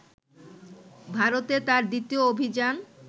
ভারতে তাঁর দ্বিতীয় অভিযান